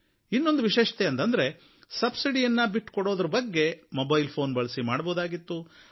ಇನ್ನೊಂದು ವಿಶೇಷತೆ ಅಂತಂದ್ರೆ ಸಬ್ಸಿಡಿಯನ್ನು ಬಿಟ್ಟುಕೊಡೋದ್ರ ಬಗ್ಗೆ ಮೊಬೈಲ್ ಫ಼ೋನ್ ಬಳಸಿ ಮಾಡಬಹುದಾಗಿತ್ತು